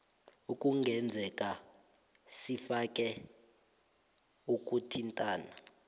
ekungenzeka sifune ukuthintana